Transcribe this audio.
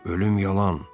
Ölüm yalan?